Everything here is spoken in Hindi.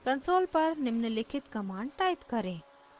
console पर निम्नलिखित command type करें